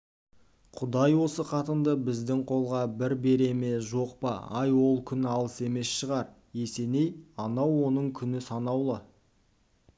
құдай осы қатынды біздің қолға бір бере ме жоқ па ай ол күн алыс емес шығар есеней анау оның күні санаулы